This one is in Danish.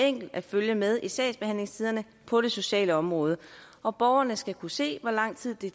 enkelt at følge med i sagsbehandlingstiderne på det sociale område og borgerne skal kunne se hvor lang tid det